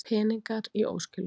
Peningar í óskilum